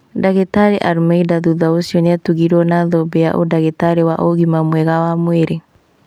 Ndagĩtarĩ Almeida thutha ũcio nĩatugirwo na thũmbĩ ya ũndagĩtarĩ wa ũgima mwega wa mwĩrĩ